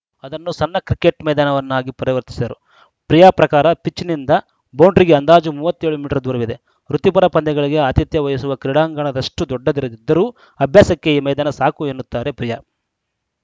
ಅದನ್ನು ಸಣ್ಣ ಕ್ರಿಕೆಟ್‌ ಮೈದಾನವನ್ನಾಗಿ ಪರಿವರ್ತಿಸಿದರು ಪ್ರಿಯಾ ಪ್ರಕಾರ ಪಿಚ್‌ನಿಂದ ಬೌಂಡರಿಗೆ ಅಂದಾಜು ಮೂವತ್ತ್ ಏಳು ಮೀಟರ್‌ ದೂರವಿದೆ ವೃತ್ತಿಪರ ಪಂದ್ಯಗಳಿಗೆ ಆತಿಥ್ಯ ವಹಿಸುವ ಕ್ರೀಡಾಂಗಣದಷ್ಟುದೊಡ್ಡದಿರದಿದ್ದರೂ ಅಭ್ಯಾಸಕ್ಕೆ ಈ ಮೈದಾನ ಸಾಕು ಎನ್ನುತ್ತಾರೆ ಪ್ರಿಯಾ